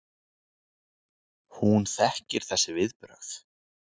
Hún þekkir þessi viðbrögð.